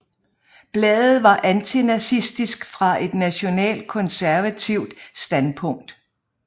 Bladet var antinazistisk fra et nationalkonservativt standpunkt